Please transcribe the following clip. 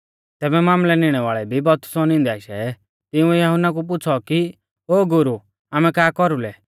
तैबै मामलै निणै वाल़ै भी बपतिस्मौ निंदै आशै तिंउऐ यहुन्ना कु पुछ़ौ कि ओ गुरु आमै का कौरुलै